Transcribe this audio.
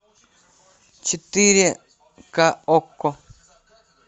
четыре ка окко